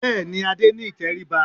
Bẹ́ẹ̀ ni, Adé ní ìtẹríba